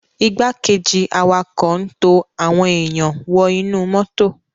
Igbákejì awakọ n to awọn èyán wọ inu moto.